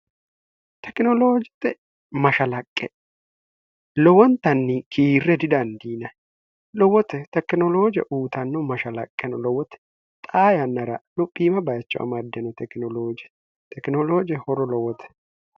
tekinoloojixe mashalaqqe lowontanni kiirre didandiina lowote tekinolooje uutanno mashalaqqeno lowote xaa yannara luphiima bayicho amaddeno oj tekinolooje horo lowote